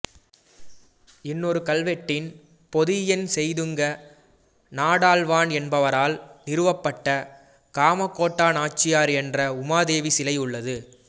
இன்னொரு கல்வெட்டின் பொதியன் செய்துங்க நாடாள்வான் என்பவரால் நிறுவப்பட்ட காமகோடா நாச்சியார் என்ற உமா தேவி சிலை உள்ளது